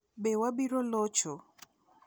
Be "Wabiro Locho"?